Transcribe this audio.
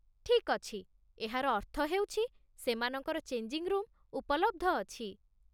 ଠିକ୍ ଅଛି, ଏହାର ଅର୍ଥ ହେଉଛି ସେମାନଙ୍କର ଚେଞ୍ଜିଙ୍ଗ୍ ରୁମ୍ ଉପଲବ୍ଧ ଅଛି।